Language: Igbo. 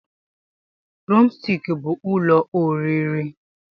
Drọmstik bụ ụlọ oriri